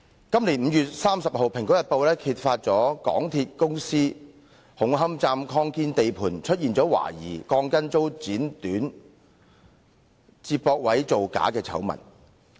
今年5月30日，《蘋果日報》揭發港鐵公司紅磡站擴建地盤懷疑鋼筋遭剪短、接駁位造假的醜聞。